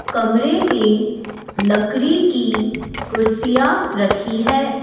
कमरे में लकड़ी की कुर्सियां रखी है।